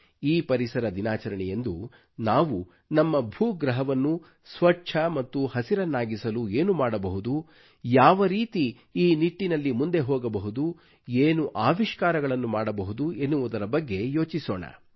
ಈ ಪರಿಸರ ದಿನಾಚರಣೆಯಂದು ನಾವು ನಮ್ಮ ಭೂಗ್ರಹವನ್ನು ಸ್ವಚ್ಚ ಮತ್ತು ಹಸಿರನ್ನಾಗಿಸಲು ಏನು ಮಾಡಬಹುದು ಯಾವ ರೀತಿ ಈ ನಿಟ್ಟಿನಲ್ಲಿ ಮುಂದೆ ಹೋಗಬಹುದು ಏನು ಅವಿಷ್ಕಾರಗಳನ್ನು ಮಾಡಬಹುದು ಎನ್ನುವುದರ ಬಗ್ಗೆ ಯೋಚಿಸೋಣ